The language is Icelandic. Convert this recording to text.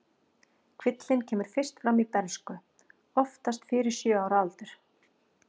Kvillinn kemur fyrst fram í bernsku, oftast fyrir sjö ára aldur.